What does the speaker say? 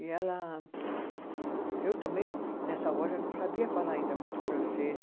E ela, eu também, nessa hora, não sabia falar ainda muito francês.